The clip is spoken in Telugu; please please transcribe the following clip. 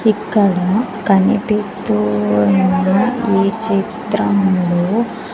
ఇక్కడ కనిపిస్తూ ఉన్నఈ చిత్రంలో--